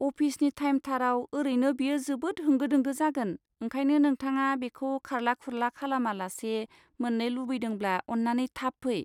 अफिसनि थाइमथाराव ओरैनो बेयो जोबोद होंगो दोंगो जागोन, ओंखायनो नोंथाङा बेखौ खारला खुरला खालामालासे मोन्नो लुबैदोंब्ला अन्नानै थाब फै।